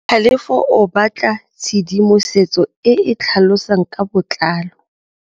Tlhalefô o batla tshedimosetsô e e tlhalosang ka botlalô.